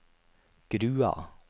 Grua